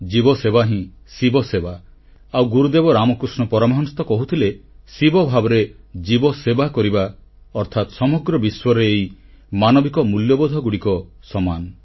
ଜୀବସେବା ହିଁ ଶିବସେବା ଆଉ ଗୁରୁଦେବ ରାମକୃଷ୍ଣ ପରମହଂସ ତ କହୁଥିଲେ ଶିବଭାବରେ ଜୀବସେବା କରିବା ଅର୍ଥାତ୍ ସମଗ୍ର ବିଶ୍ୱରେ ଏହି ମାନବିକ ମୂଲ୍ୟବୋଧଗୁଡ଼ିକ ସମାନ